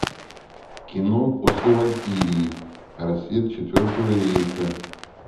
кино после валькирии рассвет четвертого рейха